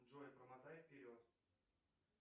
джой промотай вперед